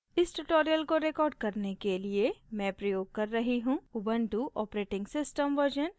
इस tutorial को record करने के लिए मैं प्रयोग कर रही हूँ ubuntu operating system version 1404